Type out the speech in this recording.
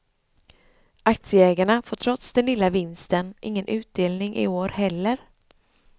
Aktieägarna får trots den lilla vinsten ingen utdelning i år heller.